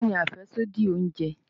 Kini afẹsodi ounje?